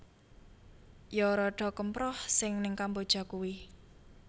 Yo rodo kemproh si ning Kamboja kui